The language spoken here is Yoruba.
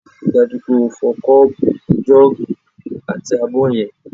Rí i dájú pé o fọ kọ́ọ̀bù, jọ́ọ̀gì àti abọ́ yẹn!